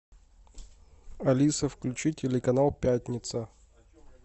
алиса включи телеканал пятница